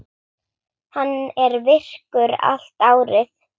Hann er virkur allt árið.